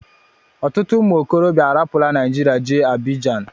Ọtụtụ ụmụ okorobịa arapula Nigeria jee Abidjan